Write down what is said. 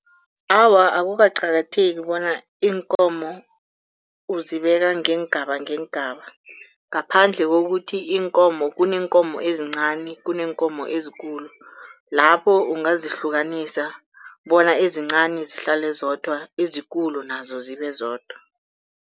Awa, akukaqakatheki bona iinkomo uzibeka ngeengaba ngeengaba ngaphandle kokuthi iinkomo kuneenkumo ezincani kuneenkomo ezikulu. Lapho ungazihlukanisa bona ezincani zihlale zibe zodwa ezikulu nazo zibe zodwa.